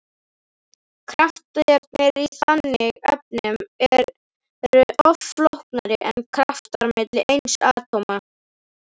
Kraftarnir í þannig efni eru oft flóknari en kraftar milli eins atóma.